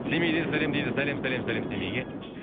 семейден сәлем дейді сәлем сәлем сәлем семейге